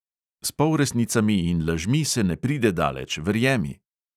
S polresnicami in lažmi se ne pride daleč, verjemi!